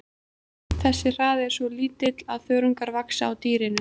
Þessi hraði er svo lítill að þörungar vaxa á dýrinu.